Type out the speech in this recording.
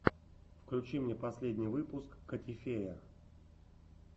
включи мне последний выпуск котифея